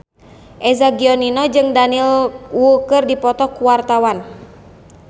Eza Gionino jeung Daniel Wu keur dipoto ku wartawan